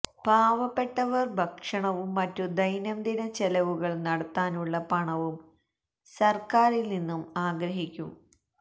പാവപ്പെട്ടവര് ഭക്ഷണവും മറ്റു ദൈനംദിന ചെലവുകള് നടത്താനുള്ള പണവും സര്ക്കാരില് നിന്നും ആഗ്രഹിക്കും